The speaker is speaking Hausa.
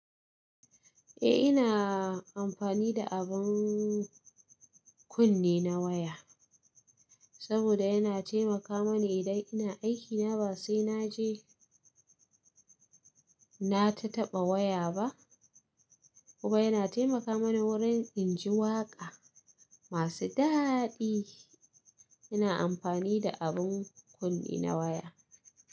Eh ina amfani da abin kunne na waya saboda yana taimaka mani idan ina aikina ba sai na je na tataba waya ba. Kuma yana taimaka mani wurin in ji waƙa masu daɗi. Ina amfani da abin kunne na waya.